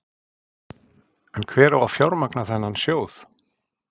En hver á að fjármagna þennan sjóð?